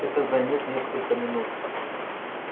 это займёт несколько минут